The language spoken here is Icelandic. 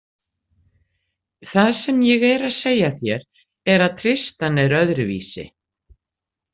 Það sem ég er að segja þér er að Tristan er öðruvísi.